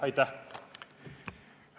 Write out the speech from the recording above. Aitäh!